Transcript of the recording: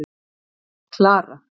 Klara